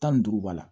Tan ni duuru b'a la